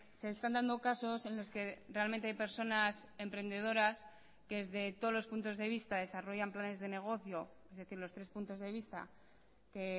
se están dando casos en los que realmente hay personas emprendedoras que desde todos los puntos de vista desarrollan planes de negocio es decir los tres puntos de vista que